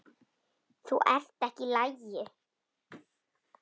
Þú ert ekki í lagi.